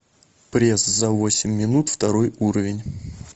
пресс за восемь минут второй уровень